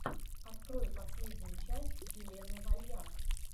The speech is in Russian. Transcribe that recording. открой последнюю часть елены вальяк